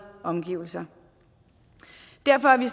omgivelser derfor er vi